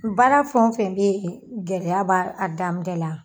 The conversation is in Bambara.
Baara fɛn wo fɛn be yen , gɛlɛya b'a daminɛ la.